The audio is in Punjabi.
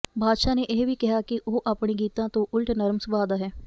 ਬਾਦਸ਼ਾਹ ਨੇ ਇਹ ਵੀ ਕਿਹਾ ਕਿ ਉਹ ਆਪਣੇ ਗੀਤਾਂ ਤੋਂ ਉਲਟ ਨਰਮ ਸੁਭਾਅ ਦਾ ਹੈ